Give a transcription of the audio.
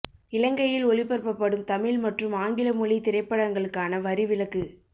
இலங்கையில் ஒளிபரப்பப்படும் தமிழ் மற்றும் ஆங்கில மொழி திரைப்படங்களுக்கான வரி விலக்கு